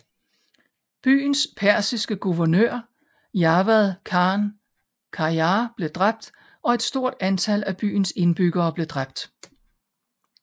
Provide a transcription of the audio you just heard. Byens persiske guvernør Javad Khan Qajar blev dræbt og et stort antal af byens indbyggere blev dræbt